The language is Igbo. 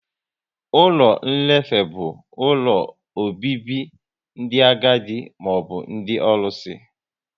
Ụlọ nlefe bụ ụlọ obibi ndị agadi maọbụ ndị ọlụsị